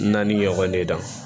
Naani ɲɔgɔn de da